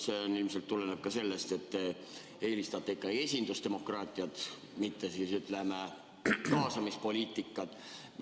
See ilmselt tuleneb ka sellest, et te eelistate ikkagi esindusdemokraatiat, mitte, ütleme, kaasamispoliitikat.